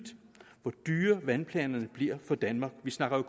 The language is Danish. hvor dyre vandplanerne bliver for danmark vi snakker